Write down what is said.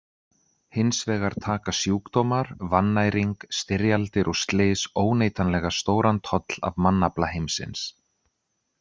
Hins vegar taka sjúkdómar, vannæring, styrjaldir og slys óneitanlega stóran toll af mannafla heimsins.